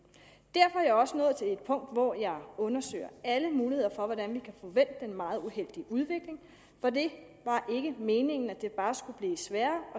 er jeg også nået til et punkt hvor jeg undersøger alle muligheder for hvordan vi kan få vendt den meget uheldige udvikling for det var ikke meningen at det bare skulle blive sværere